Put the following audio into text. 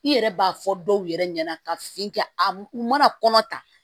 I yɛrɛ b'a fɔ dɔw yɛrɛ ɲɛna ka fin kɛ a u mana kɔnɔ ta